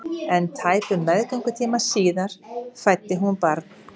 En tæpum meðgöngutíma síðar fæddi hún barn.